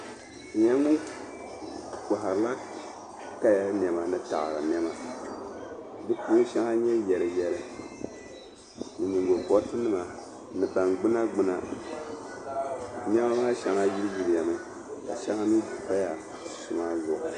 O nyɛla ŋun koharila kaya nɛma ni taada nɛma di puuni shɛŋa n-nyɛ yɛri yɛri ni nyingo kolitinima ni baŋ gbuna gbuna nɛma maa shɛŋa yili yili mi ka shɛŋa mii paya kuɣisi maa zuɣu.